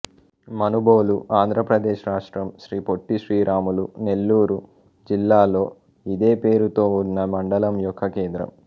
మనుబోలు ఆంధ్ర ప్రదేశ్ రాష్ట్రం శ్రీ పొట్టి శ్రీరాములు నెల్లూరు జిల్లాలో ఇదే పేరుతో ఉన్న మండలం యొక్క కేంద్రము